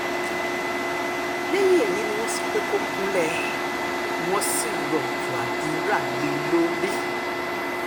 lẹ́yìn èyí ni wọ́n sọ pé kó kúnlẹ̀ wọ́n sì rọ̀jò àdúrà lé e lórí